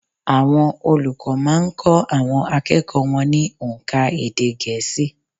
Àwọn olùkọ́ má a n kó àwọn akẹ́kọ̀ọ́ wọn ní ónká èdè gẹ̀ẹ́sì